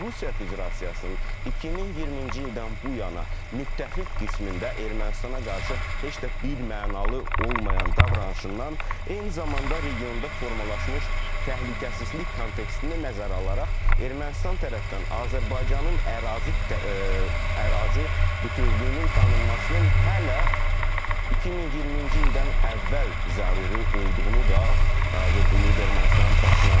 Rusiya Federasiyasının 2020-ci ildən bu yana müttəfiq qismində Ermənistana qarşı heç də birmənalı olmayan davranışından, eyni zamanda regionda formalaşmış təhlükəsizlik kontekstini nəzərə alaraq Ermənistan tərəfdən Azərbaycanın ərazi ərazi bütövlüyünün tanınmasının hələ 2020-ci ildən əvvəl zəruri olduğunu da vurğulayıb Ermənistanın baş naziri.